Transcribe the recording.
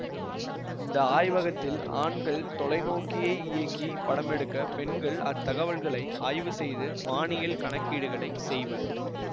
இந்த ஆய்வகத்தில் ஆண்கள் தொலைநோக்கியை இயக்கிப் படமெடுக்க பெண்கள் அத்தகவல்களை ஆய்வு செய்து வானியல் கணக்கீடுகளைச் செய்வர்